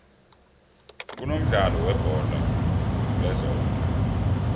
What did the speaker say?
kunomdlalo webholo lezondla